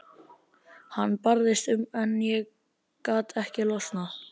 Hann barðist um en gat ekki losnað.